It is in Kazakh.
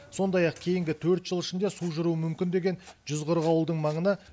сондай ақ кейінгі төрт жыл ішінде су жүруі мүмкін деген жүз қырық ауылдың маңына